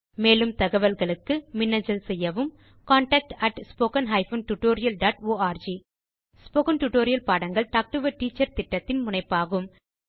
மேலும் தகவல்களுக்கு மின்னஞ்சல் செய்யவும் contact spoken hyphen tutorial dot org spoken tutorial பாடங்கள் டாக் டு எ டீச்சர் திட்டத்தின் முனைப்பாகும்